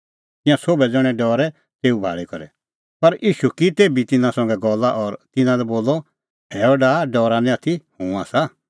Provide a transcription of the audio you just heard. तिंयां सोभै ज़ण्हैं डरै तेऊ भाल़ी करै पर ईशू की तेभी तिन्नां संघै गल्ला और तिन्नां लै बोलअ हैअ डाहा डरा निं आथी हुंह आसा